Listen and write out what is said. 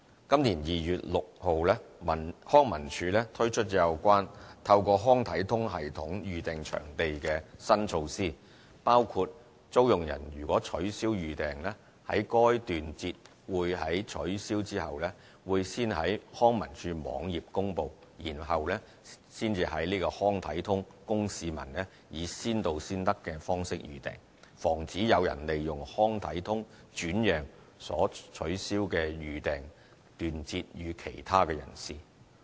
今年2月6日康文署推出有關透過"康體通"系統預訂場地的新措施，包括租用人如取消預訂，該段節會在取消後會先在康文署網頁公布，然後才在"康體通"供市民以先到先得的方式預訂，防止有人利用"康體通"轉讓所取消的預訂段節予其他人士。